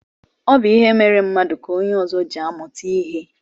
Ọ bụ ihe mere mmadụ ka onye ọzọ ji amụta ihe.